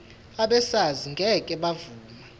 abesars ngeke bavuma